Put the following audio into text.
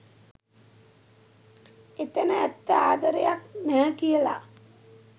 එතැන ඇත්ත ආදරයක් නැහැ කියලා.